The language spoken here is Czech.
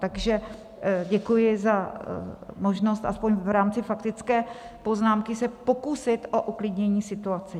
Takže děkuji za možnost aspoň v rámci faktické poznámky se pokusit o uklidnění situace.